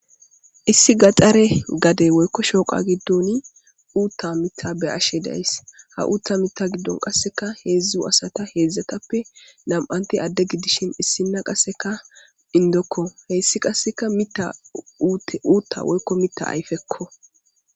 Issi gaxare gaden woyiko shoqa gidon utha mitha be'ashe dayis ha utha mitha gidon qasika hezu asata na'ti ade gidishin issina qasi inidoko hesi qas uta woyiko mita ayipeko